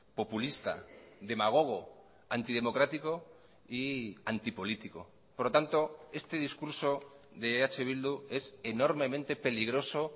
populista demagogo antidemocrático y antipolítico por lo tanto este discurso de eh bildu es enormemente peligroso